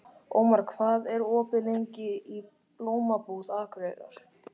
Ómar, hvað er opið lengi í Blómabúð Akureyrar?